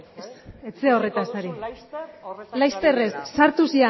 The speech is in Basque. ari ikusiko duzu laster horretaz ari naizela laister ez sartu